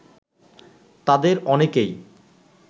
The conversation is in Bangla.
তাঁদের অনেকেই